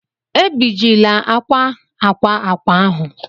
Ebijila akwa akwa akwa ahụ!